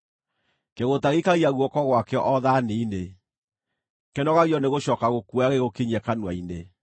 Kĩgũũta gĩikagia guoko gwakĩo o thaani-inĩ; kĩnogagio nĩgũcooka gũkuoya gĩgũkinyie kanua-inĩ.